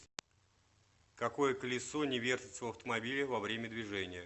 какое колесо не вертится в автомобиле во время движения